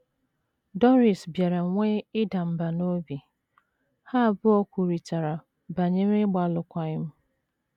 Doris bịara nwee ịda mbà n’obi, ha abụọ kwurịtara banyere ịgba alụkwaghịm.